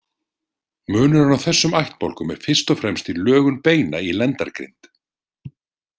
Munurinn á þessum ættbálkum er fyrst og fremst í lögun beina í lendargrind.